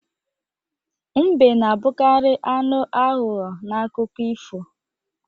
Mbe na-abụkarị anụ aghụghọ n'akụkọ ifo